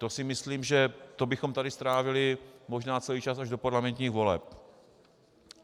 To si myslím, že to bychom tady strávili možná celý čas až do parlamentních voleb.